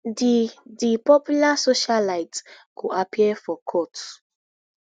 di di popular socialite go appear for court